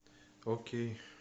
окей